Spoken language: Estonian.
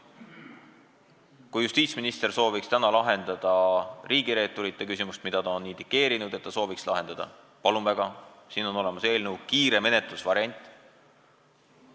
Kui justiitsminister sooviks täna lahendada riigireeturite küsimust – ta ju on indikeerinud, et ta sooviks seda lahendada –, siis palun väga, siin on olemas kiire lahendusvariant.